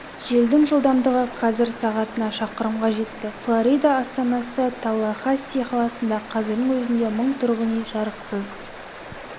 желдің жылдамдығы қазір сағатына шақырымға жетті флорида астанасы таллахасси қаласында қазірдің өзінде мың тұрғын үй жарықсыз